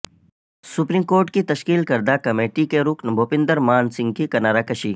supreme court کی تشکیل کردہ کمیٹی کے رکن بھوپندرمان سنگھ کی کنارہ کشی